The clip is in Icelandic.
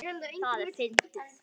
Það er fyndið.